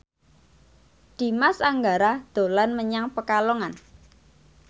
Dimas Anggara dolan menyang Pekalongan